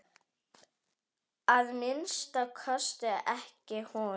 Að minnsta kosti ekki hún.